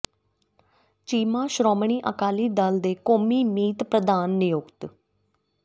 ਚੀਮਾ ਸ਼੍ਰੋਮਣੀ ਅਕਾਲੀ ਦਲ ਦੇ ਕੌਮੀ ਮੀਤ ਪ੍ਧਾਨ ਨਿਯੁਕਤ